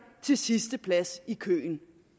til sidste plads i køen